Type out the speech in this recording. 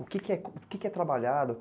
O que que é, o que que é trabalhado?